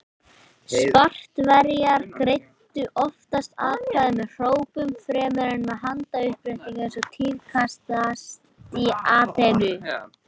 Spartverjar greiddu oftast atkvæði með hrópum fremur en með handauppréttingum eins og tíðkaðist í Aþenu.